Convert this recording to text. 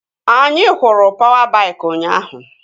Anyị hụrụ pawa baik ụnyaahụ